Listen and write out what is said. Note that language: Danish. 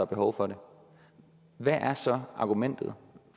behov for det hvad er så argumentet